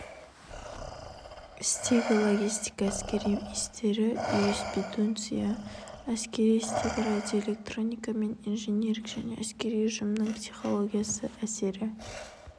істегі логистика әскери істегі юриспруденция әскери істегі радиоэлектроника мен инжиниринг және әскери ұжымның психологиясы әскери